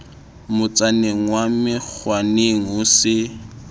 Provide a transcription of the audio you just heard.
motsaneng wa menkgwaneng ho se